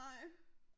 Nej